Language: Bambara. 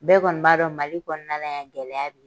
Bɛɛ kɔni b'a dɔn Mali kɔnɔna na yan gɛlɛya bɛ ye.